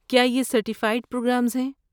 کیا یہ certified programmes ہیں؟